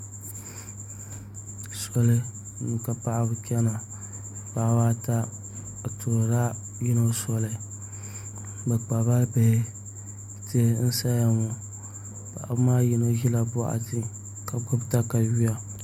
Soli ni ka paɣaba chɛna paɣaba ata bi tuhurila yino soli bi kpabila bihi tihi n saya ŋo paɣaba maa yino ʒila boɣati ka gbubi katawiya